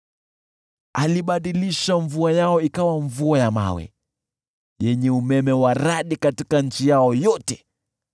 Alibadilisha mvua yao ikawa mvua ya mawe, yenye umeme wa radi nchini yao yote,